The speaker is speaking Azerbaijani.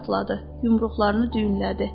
Yumruqlarını düyünlədi.